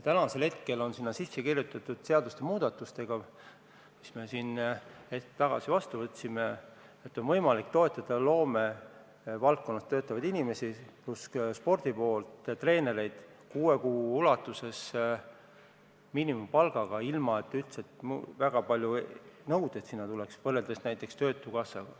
Sinna on sisse kirjutatud nende seadusmuudatustega, mis me siin hetk tagasi vastu võtsime, et on võimalik toetada loomevaldkonnas töötavaid inimesi ja ka spordipoolt ehk treenereid kuue kuu jooksul miinimumpalgaga, ilma et neile üldse väga palju nõudeid esitatakse võrreldes näiteks töötukassaga.